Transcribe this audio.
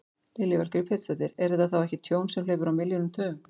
Lillý Valgerður Pétursdóttir: Er þetta þá ekki tjón sem hleypur á milljónum, tugum?